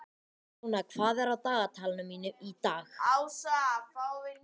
Jóna, hvað er á dagatalinu mínu í dag?